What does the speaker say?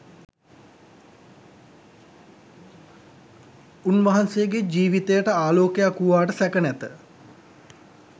උන්වහන්සේගේ ජීවිතයට ආලෝකයක් වූවාට සැක නැත.